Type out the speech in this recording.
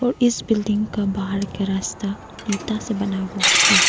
इस बिल्डिंग का बाहर के रास्ता ईटा से बना हुआ है।